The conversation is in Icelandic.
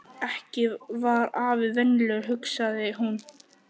Ekki var afi venjulegur, hugsaði hún.